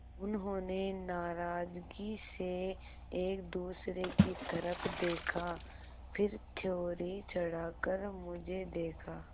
उन्होंने नाराज़गी से एक दूसरे की तरफ़ देखा फिर त्योरी चढ़ाकर मुझे देखा